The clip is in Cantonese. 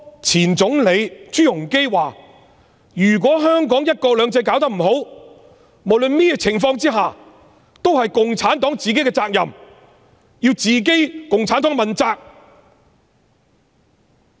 前總理朱鎔基說如果香港的"一國兩制"搞不好，無論甚麼情況下也是共產黨自己的責任，要共產黨自己問責。